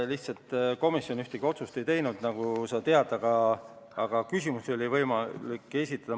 Lihtsalt komisjon ühtegi otsust ei teinud, nagu sa tead, aga küsimusi oli võimalik esitada.